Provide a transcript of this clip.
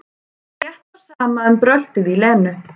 Stóð slétt á sama um bröltið í Lenu.